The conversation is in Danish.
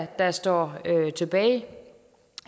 der står tilbage